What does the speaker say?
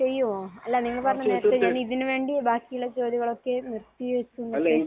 ചെയ്യുമോ? അല്ല. നിങ്ങൾ പറഞ്ഞില്ലേ നേരത്തെ. ഞാൻ ഇതിനു വേണ്ടി ബാക്കിയുള്ള ജോലികളൊക്കെയും നിർത്തി വെക്കുമെന്ന് ഒക്കെ